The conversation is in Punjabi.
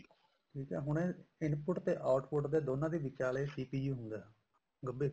ਠੀਕ ਆ ਹੁਣ ਇਹ input ਤੇ output ਦੋਨਾ ਦੇ ਵਿਚਾਲੇ CPU ਗੱਭੇ